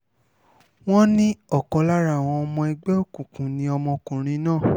wọ́n ní ọ̀kan lára àwọn ọmọ ẹgbẹ́ òkùnkùn ni ọmọkùnrin náà